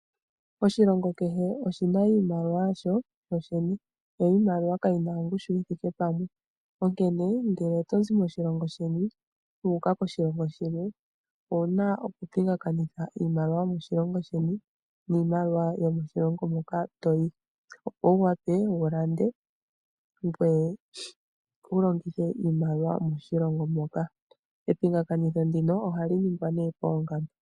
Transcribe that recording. Oshilongo kehe oshina iimaliwa yasho sho shene, yo iimaliwa kayina ongushu yi thike pamwe onkene ngele oto zi moshilongo sheni wuuka koshilongo shilwe owuna okupingakanitha iimaliwa yomoshilongo sheni niimaliwa yomoshilongo moka toyi opo wu wa pe wulande ngweye walongithe iimaliwa yomoshilongo moka. Yepingakanitho ndino ohali ningwa nee poongamba.